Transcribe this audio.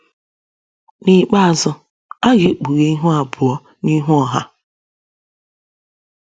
N’ikpeazụ, a ga - ekpughe ihu abụọ n’ihu ọha.